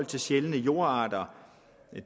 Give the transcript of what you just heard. til sjældne jordarter